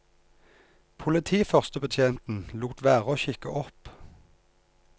Politiførstebetjenten lot være å kikke opp.